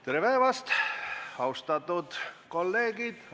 Tere päevast, austatud kolleegid!